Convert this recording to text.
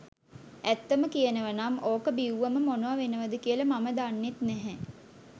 ඇත්තම කියනව නම් ඕක බිව්වම මොනව වෙනවද කියල මම දන්නෙත් නැහැ.